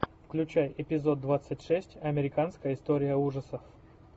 включай эпизод двадцать шесть американская история ужасов